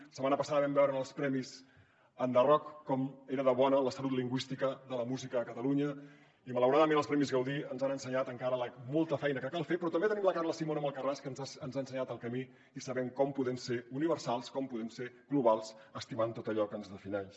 la setmana passada vam veure en els premis enderrock com era de bona la salut lingüística de la música a catalunya i malauradament els premis gaudí ens han ensenyat encara la molta feina que cal fer però també tenim la carla simón amb alcarràspodem ser globals estimant tot allò que ens defineix